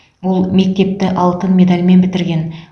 ол мектепті алтын медальмен бітірген